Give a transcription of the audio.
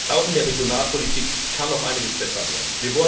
Auch in der Regionalpolitik kann noch einiges besser werden.